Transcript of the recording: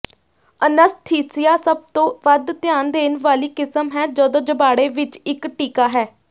anaesthesia ਸਭ ਤੋਂ ਵੱਧ ਧਿਆਨ ਦੇਣ ਵਾਲੀ ਕਿਸਮ ਹੈ ਜਦੋਂ ਜਬਾੜੇ ਵਿੱਚ ਇੱਕ ਟੀਕਾ ਹੈ